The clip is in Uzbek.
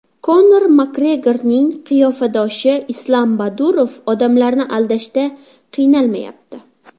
Konor MakGregorning qiyofadoshi Islam Badurov odamlarni aldashda qiynalmayapti .